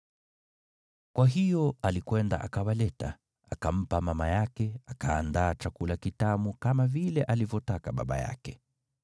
Kwa hiyo alikwenda akawaleta, akampa mama yake, akaandaa chakula kitamu, kama vile alivyopenda baba yake.